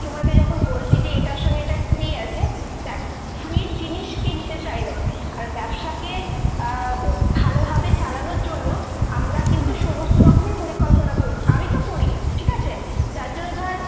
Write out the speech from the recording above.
মানে customer কে বলবি যখন যে এটার সঙ্গে এটা free আছে। দ্যাখ free র জিনিস কে নিতে চায়না ? আর ব্যবসাকে আহ উ ভালোভাবে চালানোর জন্য আমরা কিন্তু সমস্ত রকমই পরিকল্পনা করি। আমিতো করি ঠিক আছে ? যার জন্য ধর